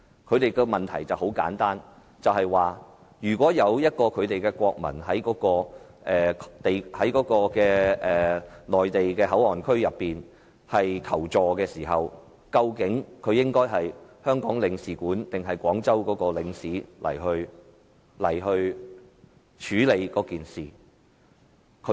他們的問題很簡單，如果他們的國民在內地口岸區求助，究竟應該由他們在香港的領事還是廣州的領事處理此事？